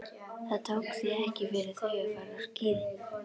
Það tók því ekki fyrir þau að fara á skíði.